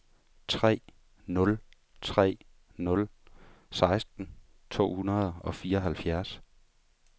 tre nul tre nul seksten to hundrede og fireoghalvfjerds